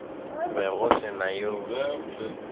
be go se na yo